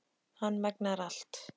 Hann megnar allt.